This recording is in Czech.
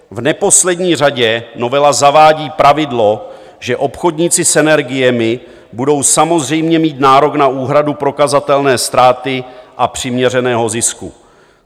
V neposlední řadě novela zavádí pravidlo, že obchodníci s energiemi budou samozřejmě mít nárok na úhradu prokazatelné ztráty a přiměřeného zisku.